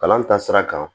Kalan taasira kan